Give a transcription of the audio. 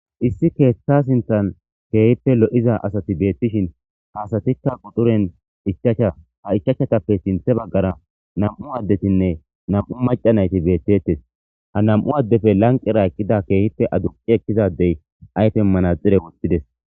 issi keeththa sinthan keehippe lo7iza asati beettishin haasatikka quxuren ichacha ha ichachchatappe sinthe baggara nam7u addetinne nam7u maca nayti beettettes ha nam7u addefe lanqera eqqida keehippe adunqi ekkizadey aytenmana xire wottides